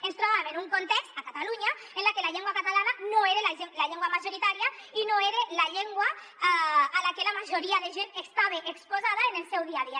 ens trobàvem en un context a catalunya en el que la llengua catalana no era la llengua majoritària i no era la llengua a la que la majoria de gent estava exposada en el seu dia a dia